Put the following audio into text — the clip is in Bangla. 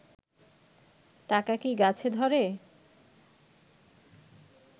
টাকা কি গাছে ধরে?